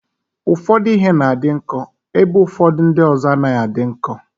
Ụfọdụ ihe na-adị nkọ ebe ụfọdụ ndị ọzọ anaghị adị nkọ.